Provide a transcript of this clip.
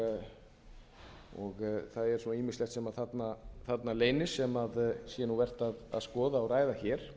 er svo ýmislegt sem þarna leynist sem ég held að sé vert að skoða og ræða hér